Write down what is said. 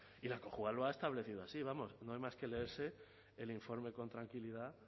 y la cojua lo ha establecido así no hay más que leerse el informe con tranquilidad